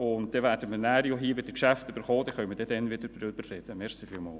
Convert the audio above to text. Wir werden dann die Geschäfte hier wiedererhalten und können dann darüber sprechen.